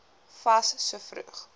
fas so vroeg